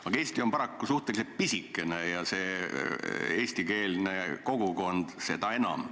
Aga Eesti on paraku suhteliselt pisikene ja eestikeelne kogukond seda enam.